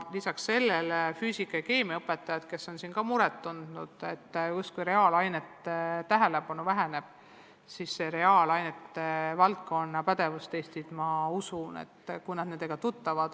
Ka füüsika- ja keemiaõpetajad on muret tundnud, et justkui tähelepanu reaalainetele väheneb, aga ka reaalainete valdkonna pädevustestid saavad kinnitust.